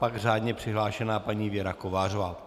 Pak řádně přihlášená paní Věra Kovářová.